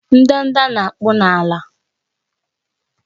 Ndanda na-akpụ akpụ n'ala